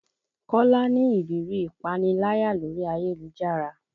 Kola ni ìrírí ìpaniláyà lórí ayélujára